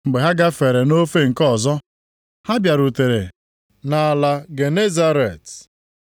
Mgbe ha gafere nʼofe nke ọzọ, ha bịarutere nʼala Genesaret.